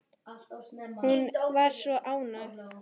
Hún var svo ánægð.